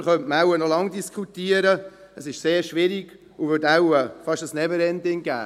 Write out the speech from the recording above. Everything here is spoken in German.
Darüber könnte man noch lange diskutieren, und das wäre wohl fast «never ending».